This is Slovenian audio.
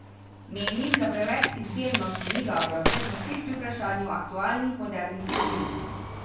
Menim, da preveč izbirnosti ni dobro, saj smo spet pri vprašanju aktualnih modernih vsebin.